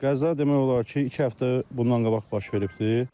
Qəza demək olar ki, iki həftə bundan qabaq baş veribdir.